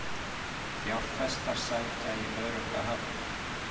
Fjárfestar sækja í örugga höfn